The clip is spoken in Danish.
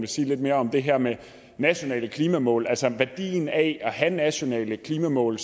sige lidt mere om det her med nationale klimamål altså værdien af at have nationale klimamål